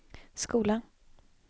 skola